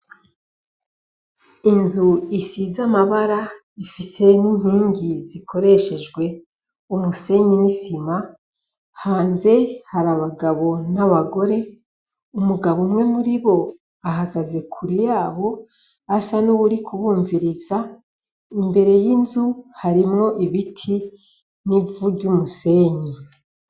Inzu isize amabara ifise n'inkingi zikoreshejwe m'umusenyi n'isima. Hanze har'abagabo n'abagore; umugabo umwe ahagaze kure yabo asa nuwurikubumviriza. Imbere y'inzu hariho ibiti n'ivu ry'umusenyi.